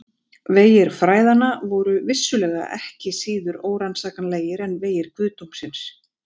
Vegir fræðanna voru vissulega ekki síður órannsakanlegir en vegir guðdómsins!